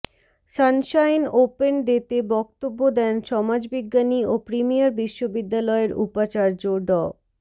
Sunshine open day তে বক্তব্য দেন সমাজবিজ্ঞানী ও প্রিমিয়ার বিশ্ববিদ্যালয়ের উপাচার্য ড